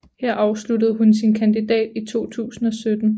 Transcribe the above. Her afsluttede hun sin kandidat i 2017